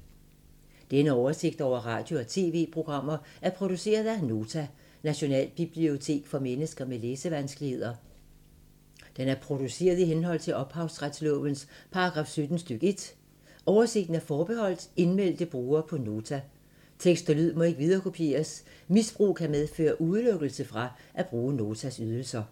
Denne oversigt over radio og TV-programmer er produceret af Nota, Nationalbibliotek for mennesker med læsevanskeligheder. Den er produceret i henhold til ophavsretslovens paragraf 17 stk. 1. Oversigten er forbeholdt indmeldte brugere på Nota. Tekst og lyd må ikke viderekopieres. Misbrug kan medføre udelukkelse fra at bruge Notas ydelser.